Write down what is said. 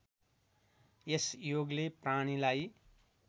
यस योगले प्राणीलाई